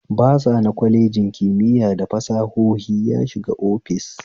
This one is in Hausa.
Basa na kwalejin kimiya da fasahohi ya shiga office